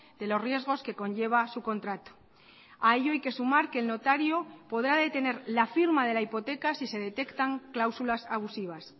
de los riesgos que conlleva su contrato a ello hay que sumar que el notario podrá detener la firma de la hipoteca si se detectan cláusulas abusivas